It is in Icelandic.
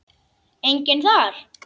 Enginn þar?